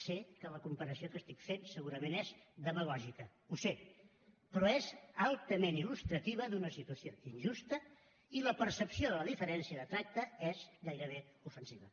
sé que la comparació que estic fent segurament és demagògica ho sé però és altament il·lustrativa d’una situació injusta i la percepció de la diferència de tracte és gairebé ofensiva